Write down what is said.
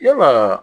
Yala